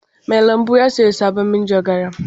Mai lambu ya sayi sabon manjagara.